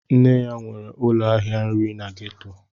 Nne ya nwere ụlọ ahịa nri na gétò